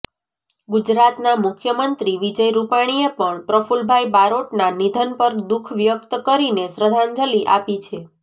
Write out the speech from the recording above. ગુજરાતના મુખ્યમંત્રી વિજય રૂપાણીએ પણ પ્રફુલભાઈ બારોટના નિધન પર દુઃખ વ્યક્ત કરીને શ્રદ્ધાંજલિ આપી છે